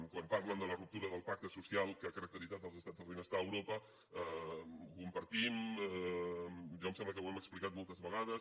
quan parlen de la ruptura del pacte social que ha caracteritzat els estats del benestar a europa ho compartim jo em sembla que ho hem explicat moltes vegades